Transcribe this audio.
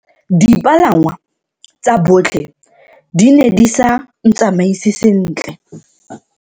Dipalangwa tsa botlhe di ne di sa ntsamaise sentle.